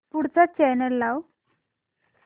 पुढचा चॅनल लाव